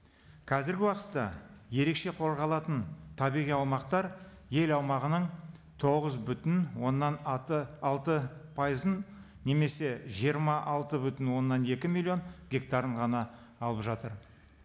қазіргі уақытта ерекше қорғалатын табиғи аумақтар ел аумағының тоғыз бүтін оннан алты пайызын немесе жиырма алты бүтін оннан екі миллион гектарын ғана алып жатыр